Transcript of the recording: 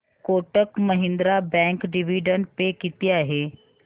Kotak Mahindra bank dividend pay किती आहे